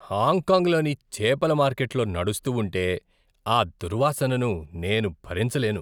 హాంకాంగ్లోని చేపల మార్కెట్ లో నడుస్తూ ఉంటె ఆ దుర్వాసనను నేను భరించలేను.